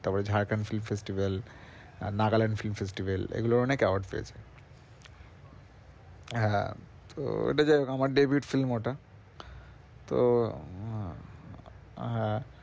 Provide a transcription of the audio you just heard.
তারপর Jharkhand film festival ah Nagaland film festival এগুলোর অনেক award পেয়েছে হ্যাঁ তো ওইটা যায় হউক আমার david film ওটা তো উহ হ্যাঁ